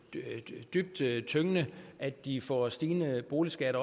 er dybt tyngende at de får stigende boligskatter